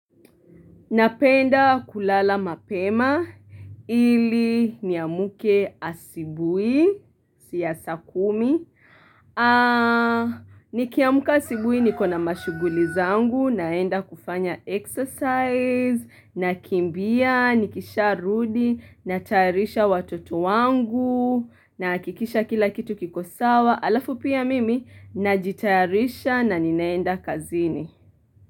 Napenda kulala mapema ili niamuke asibui siyasa kumi. Nikiamka asubuhi niko na mashughuli zangu naenda kufanya exercise na kimbia nikisha rudi na tayarisha watoto wangu nahakikisha kila kitu kikosawa halafu pia mimi na jitayarisha na ninaenda kazini.